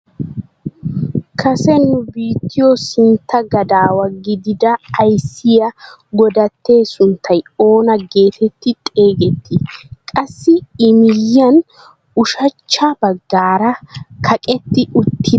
Kase nu biittiyoo sintta gadaawa gidida ayssiyaa godattee sunttay oona getetti xeegettii? qassi i miyiyaan ushshachcha baggaara kaqetti uttida banddiray awa biittaagee?